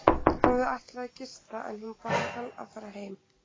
Hann hafði ætlað að gista en hún bað hann að fara heim.